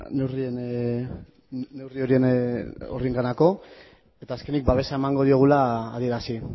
horienganako eta azkenik babesa emango diogula adierazi